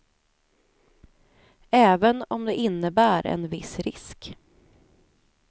Även om det innebär en viss risk.